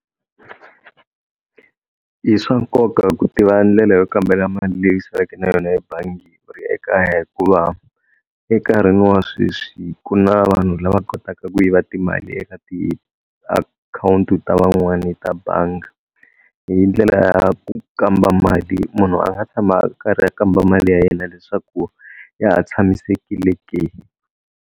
I swa nkoka ku tiva ndlela yo kambela mali leyi saleke na yona ebangi u ri ekaya hikuva enkarhini wa sweswi ku na vanhu lava kotaka ku yiva timali eka tiakhawunti ta van'wani ta bangi hi ndlela ya ku kamba mali munhu a nga tshama a karhi a kamba mali ya yena leswaku ya ha tshamisekile ke.